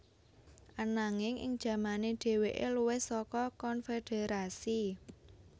Ananging ing jamane dhèwèké luwih saka konfederasi